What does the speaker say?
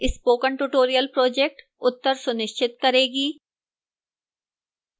spoken tutorial project उत्तर सुनिश्चित करेगी